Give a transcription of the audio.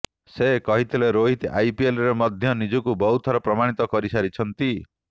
ସେ କହିଥିଲେ ରୋହିତ ଆଇପିଏଲ ରେ ମଧ୍ୟ ନିଜକୁ ବହୁ ଥର ପ୍ରମାଣିତ କରିସାରିଛନ୍ତି